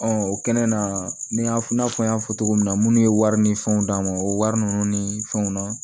o kɛnɛ na ni ya f'i n'a fɔ n y'a fɔ cogo min na munnu ye wari ni fɛnw d'a ma o wari nunnu ni fɛnw na